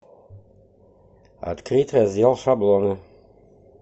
открыть раздел шаблоны